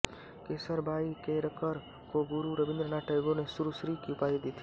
केसरबाई केरकर को गुरु रवीन्द्र नाथ टैगोर ने सुरश्री की उपाधि दी थी